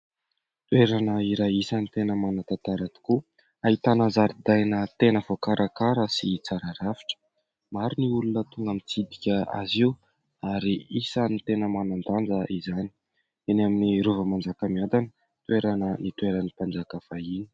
Toerana iray isany tena manan- tantara tokoa, ahitana zaridaina tena voakarakara sy tsara rafitra. Maro ny olona tonga mitsidika azy io, ary isan'ny tena manan-danja izany. Eny amin'ny Rova Manjakamiadana toerana nitoeran'ny mpanjaka fahiny.